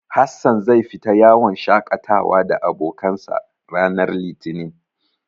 Hassan zai fita yawon shaƙatawa da abokansa, ranar Litinin.